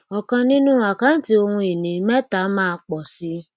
ọkàn nínú àkáǹtí ohun ìní mẹta máa pò sí